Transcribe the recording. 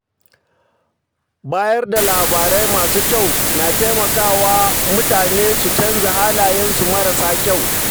Bayar da labarai masu ƙyau na taimaka wa mutane su canza halayensu marasa kyau.